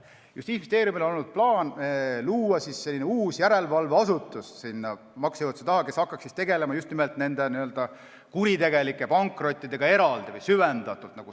Justiitsministeeriumil on olnud plaan luua uus järelevalveasutus maksejõuetuse asjade jaoks, mis hakkaks süvendatult tegelema just nimelt nende n-ö kuritegelike pankrottidega.